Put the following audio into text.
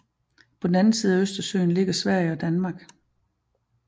På den anden side af Østersøen ligger Sverige og Danmark